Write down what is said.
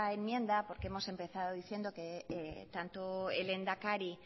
enmienda porque hemos empezado diciendo que tanto el lehendakari